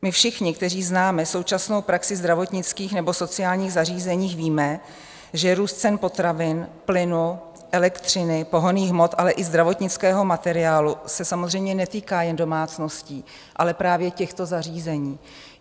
My všichni, kteří známe současnou praxi zdravotnických nebo sociálních zařízení, víme, že růst cen potravin, plynu, elektřiny, pohonných hmot, ale i zdravotnického materiálu se samozřejmě netýká jen domácností, ale právě těchto zařízení.